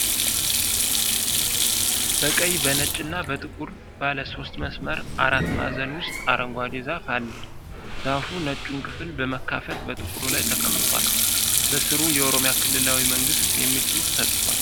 በቀይ፣ በነጭና በጥቁር ባለ ሶስት መስመር አራት ማዕዘን ውስጥ አረንጓዴ ዛፍ አለ። ዛፉ ነጩን ክፍል በመካፈል በጥቁሩ ላይ ተቀምጧል። በሥሩ "የኦሮሚያ ክልላዊ መንግሥት" የሚል ጽሑፍ ተጽፏል።